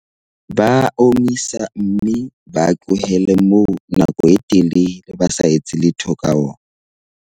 Ba a omisa mme ba a tlohelle moo nako e telele ba sa etse letho ka ona.